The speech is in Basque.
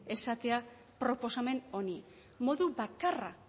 esatea proposamen honi modu bakarra